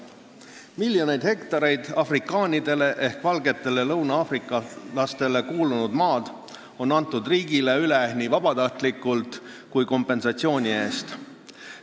Miljoneid hektareid afrikandritele ehk valgetele lõuna-aafrikastele kuulunud maad on antud riigile üle nii vabatahtlikult kui kompensatsiooni eest.